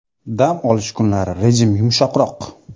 Dam olish kunlari rejim yumshoqroq.